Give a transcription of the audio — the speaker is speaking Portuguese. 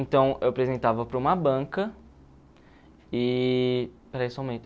Então, eu apresentava para uma banca e... Espera aí só um momento.